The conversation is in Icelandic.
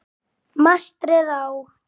Mastrið á